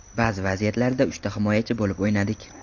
Ba’zi vaziyatlarda uchta himoyachi bo‘lib o‘ynadik.